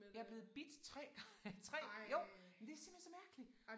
Jeg blevet bidt 3 3 jo men det simpelthen så mærkeligt